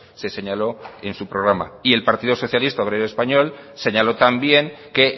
se señaló en su programa y el partido socialista obrero español señaló también que